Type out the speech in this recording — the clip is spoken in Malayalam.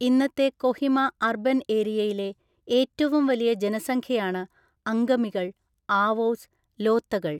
ഇന്നത്തെ കൊഹിമ അർബൻ ഏരിയയിലെ ഏറ്റവും വലിയ ജനസംഖ്യയാണ് അംഗമികൾ, ആവോസ്, ലോത്തകൾ.